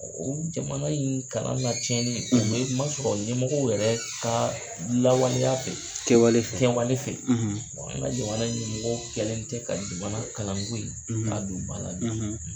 O jamana in kalan ka cɛnni o bɛ ma sɔrɔ ɲɛmɔgɔ yɛrɛw ka lawaleya fɛ kɛwale fɛ nwale fɛ wa an ka jamana ɲɛmɔgɔ kɛlen tɛ ka jamana kalango in ka a don ba la.